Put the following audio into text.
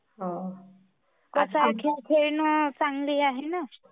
आता खेळासारख्या चांगली आहे.